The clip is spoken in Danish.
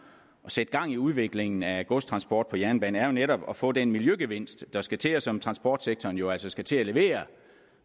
sætte gang i udviklingen af godstransport på jernbane er jo netop at få den miljøgevinst der skal til og som transportsektoren jo altså skal til at levere